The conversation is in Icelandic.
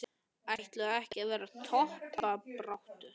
Ætla ekki allir að vera í toppbaráttu?